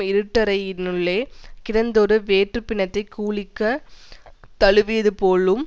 இருட்டறையினுள்ளே கிடந்ததொரு வேற்றுப் பிணத்தைக் கூலிக்குத் தழுவியதுபோலும்